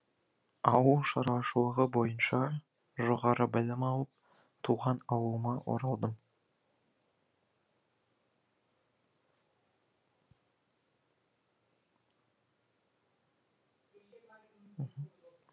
ауыл шаруашылығы бойынша жоғары білім алып туған ауылыма оралдым